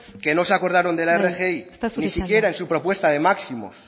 que no se acordaron de la rgi ni siquiera en su propuesta de máximos